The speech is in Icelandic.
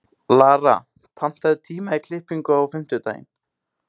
Lara, pantaðu tíma í klippingu á fimmtudaginn.